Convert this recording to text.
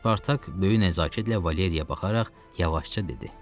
Spartak böyük nəzakətlə Valeriyaya baxaraq yavaşca dedi: